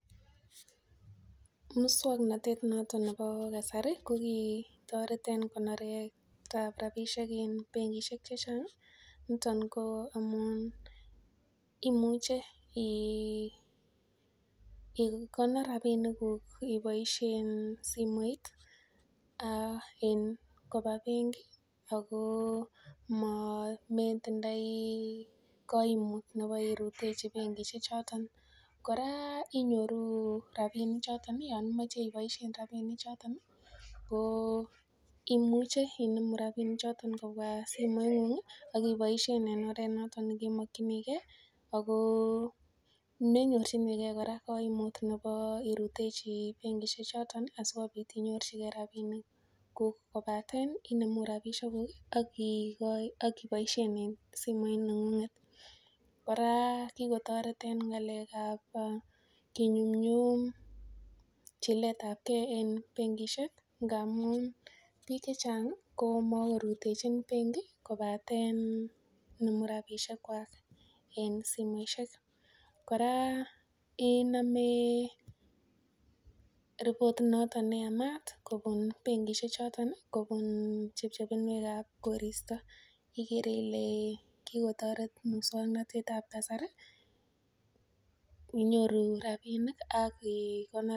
Mukswanotetab naton nebo kasari kokotaretab rabisiek en bengishek chechang ih, niton ko amuun imuche ikonor rabik kug ibaisien simoit ak in metindoi kaimut nebo iberutechi bengishek choton. Kora inyoru rabinik choton ih Yoon imoche ibaishen rabinik choton ih, ko imuche inemu ranik choton kobua simeet , akiboisien en oret noton nekemakyinige . Ako ndenyorchinike kaimut ko irutechi bengishek choton asiko bit inyoru chike rabisiek. Kobaten inemu rabisiekuk ih aki akiboisien en simoit neng'unget. Kora kikotaret eng ng'alekab kinyunyum chiletabke en bengishek ngamun bik chechang komakoi rutechin bengi kobaten inemu rabisiekuak en bengi. Kora iname report noton neyamaat kobun chepchepinwekab korista igere Ile kokotaret mukswanotetab kasari inyoru rabinik ak I konor.